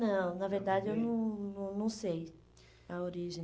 Não, na verdade eu não não não sei a origem.